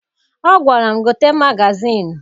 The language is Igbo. Ọ gwara m, gote magazịịnụ!